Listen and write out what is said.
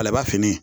Ale ba fini